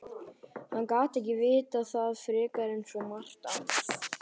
Hann gat ekki vitað það frekar en svo margt annað.